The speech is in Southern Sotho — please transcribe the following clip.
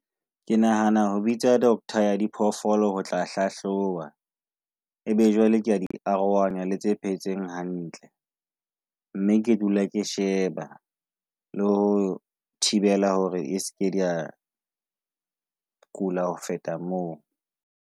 Ke nahana ho bitsa Dr ya diphoofolo ho tla hlahloba. E be jwale kea di arohanya le tse phetseng hantle mme ke dula ke sheba le ho thibela hore e seke dia kula ho feta moo.